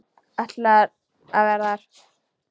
Ætlar að vera þar.